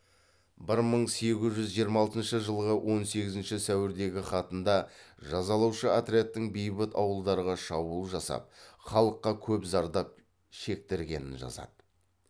бір мың сегіз жүз жиырма алтыншы жылғы он сегізінші сәуірдегі хатында жазалаушы отрядтың бейбіт ауылдарға шабуыл жасап халыққа көп зардап шектіргенін жазады